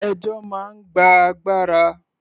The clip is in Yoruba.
Ẹjọ́ máa ń gba agbára.